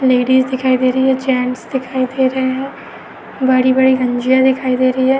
Ladies दिखाई दे रही हैं। जेंट्स दिखाई दे रहा हैं। बड़ी-बड़ी गंजिया दिखाई दे रही हैं।